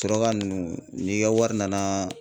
Suraka nunnu n'i ka wari nana